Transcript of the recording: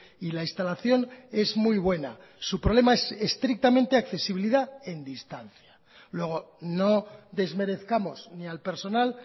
y la instalación es muy buena su problema es estrictamente accesibilidad en distancia luego no desmerezcamos ni al personal